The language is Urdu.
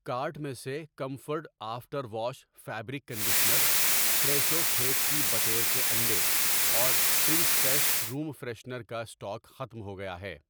کارٹ میں سے comfort after wash fabric conditioner, Fresho کھیت کی بٹیر کے انڈے اور سپرنگ فیسٹ روم فریشنر کا اسٹاک ختم ہوگیا ہے۔